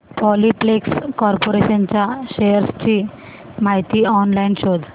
Polyplex corporation च्या shares ची माहिती ऑनलाइन शोध